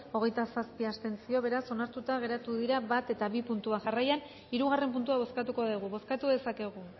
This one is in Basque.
hogeita zazpi abstentzio beraz onartuta geratu dira bat eta bi puntuak jarraian hirugarren puntua bozkatuko dugu bozkatu dezakegu